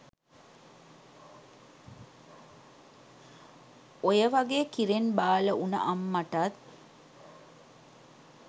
ඔයවගේ කිරෙන් බාල වුන අම්මටත්